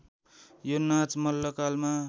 यो नाच मल्लकालमा